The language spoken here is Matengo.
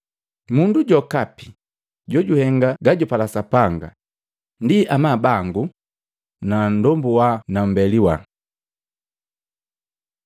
Mundu jokapi jojuhenga gajupala Sapanga, ndi amabu bangu na nndombu wa nu mmbeli wa.”